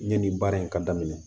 Yanni baara in ka daminɛ